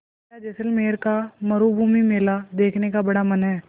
मेरा जैसलमेर का मरूभूमि मेला देखने का बड़ा मन है